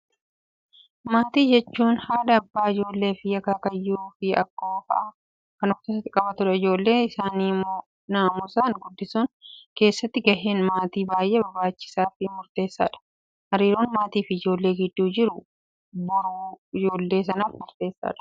Maatii jechuun, haadha abbaa ijoollee fi akaakayyuu fi akka'oo fa'aa kan of keessatti qabatu. Ijoollee isaanii namusaan guddisuu keessatti gaheen maatii baayyee barbaachisaa fi murteessaa dha. Hariiroon maatii fi ijoollee gidduu jiru boruu ijoollee sanaaf murteessaa dha.